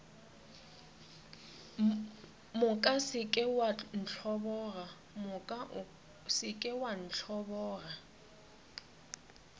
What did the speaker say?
moka se ke wa ntlhoboga